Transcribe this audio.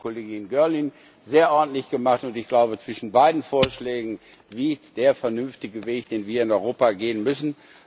Das hat die Kollegin Girling sehr ordentlich gemacht und ich glaube, zwischen beiden Vorschlägen liegt der vernünftige Weg, den wir in Europa gehen müssen.